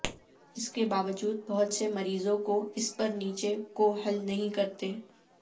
اس کے باوجود بہت سے مریضوں کو اس پر نیچے کو حل نہیں کرتے